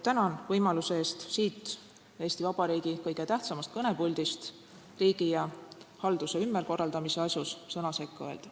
Tänan võimaluse eest siit, Eesti Vabariigi kõige tähtsamast kõnepuldist riigi ja halduse ümberkorraldamise asjus sõna sekka öelda.